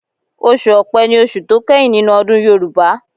Ọsù ọpé ní oṣù tó kẹ́yìn nínú ọdún Yorùbá.